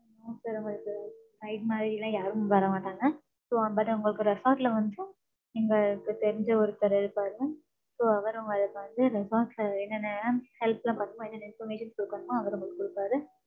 no sir உங்களுக்கு guide மாதிரி எல்லாம் யாரும் வர மாட்டாங்க. So but உங்களுக்கு resort ல வந்து, எங்களுக்கு தெரிஞ்ச ஒருத்தர் இருப்பாரு. So அவர் உங்களுக்கு வந்து, resort ல என்னென்ன, help லா பார்க்கணுமோ என்னென்ன informations லாம் குடுக்கணுமோ அவர் உங்களுக்கு கொடுப்பார்.